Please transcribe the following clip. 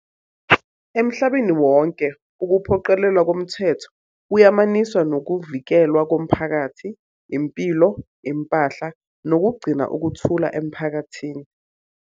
Emhlabeni wonke, ukuphoqelelwa komthetho kuyamaniswa nokuvikelwa komphakathi, impilo, impahla, nokugcina ukuthula emphakathini.